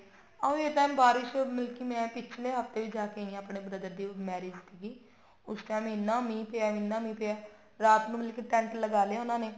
ਉਹੀ ਹੈ ਕਿ ਬਾਰਿਸ਼ ਮੈਂ ਪਿਛਲੇ ਹਫਤੇ ਜਾ ਕੇ ਆਈ ਹਾਂ ਮਤਲਬ marriage ਤੇ ਹੀ ਉਸ time ਇੰਨਾ ਮੀਂਹ ਪਿਆ ਇੰਨਾ ਮੀਂਹ ਪਿਆ ਰਾਤ ਨੂੰ ਮਤਲਬ ਕੀ ਟੇਂਟ ਲਗਾ ਲਿਆ ਉਹਨਾ ਨੇ